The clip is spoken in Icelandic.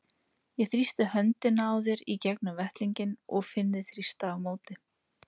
Ég þrýsti höndina á þér í gegnum vettlinginn og finn þig þrýsta á móti.